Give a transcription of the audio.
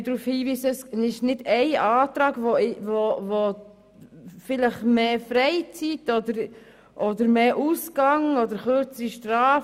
Kein einziger Antrag fordert mehr Freizeit, mehr Ausgang oder kürzere Strafen.